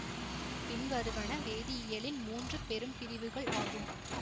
பின்வருவன வேதியியலின் மூன்று பெரும்பிரிவுகள் ஆகும்